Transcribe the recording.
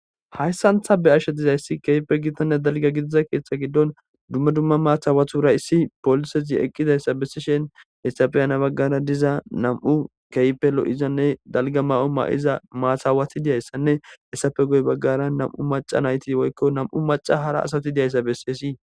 Hayssan ta beyashe dizayssi keehippe gitanne dalgga gidida keththa giddon dumma dumma matabatura issi polisezi ekizayssa besishin ettappe heni baggara diza nam'u keehippe lo'izanne dalgga mayo mayiza maata aawatii de'izayssanne hessappe guye baggara nam'u macara asati dizayssa besses